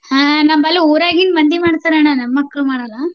ಹಾ ನಮ್ಮಲ್ಲಿ ಊರಾಗಿನ್ ಮಂದಿ ಮಾಡ್ತಾರಣ್ಣಾ ನಮ್ಮ್ ಮಕ್ಕ್ಳು ಮಾಡಲ್ಲಾ.